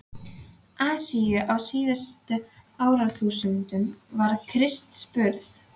Asíu á síðustu árþúsundum fyrir Krists burð.